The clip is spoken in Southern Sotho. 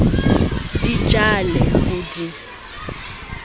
di ja le ho di